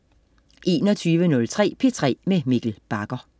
21.03 P3 med Mikkel Bagger